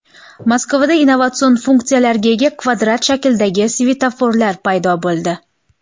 Moskvada innovatsion funksiyalarga ega kvadrat shaklidagi svetoforlar paydo bo‘ldi.